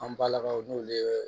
An balakaw n'olu ye